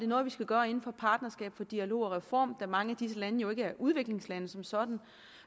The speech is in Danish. noget vi skal gøre inden for partnerskab for dialog og reform da mange af disse lande jo ikke er udviklingslande som sådan